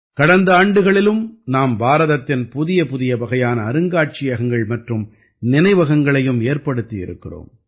கடந்த ஆண்டுகளிலும் நாம் பாரதத்தின் புதிய புதிய வகையான அருங்காட்சியகங்கள் மற்றும் நினைவகங்களையும் ஏற்படுத்தி இருக்கிறோம்